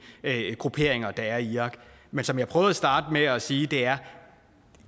grupperinger der er i irak men som jeg prøvede at starte med at sige er